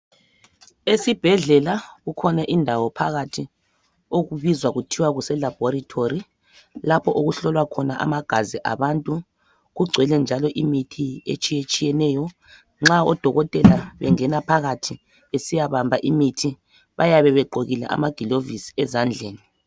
Esibhedlela kukhona indawo phakathi okubizwa kuthwa kuselabhorethori lapho okuhlolwa khona amagazi abantu kugcwele njalo imithi etshiyetshiyeneyo nxa odokotela bengena phakathi besiya bamba imithi bayabe begqokile amaglovisi ezandleni.